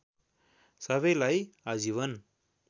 सबैलाई आजीवन